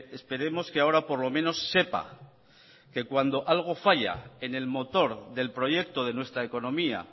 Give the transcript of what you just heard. esperemos que ahora por lo menos sepa que cuando algo falla en el motor del proyecto de nuestra economía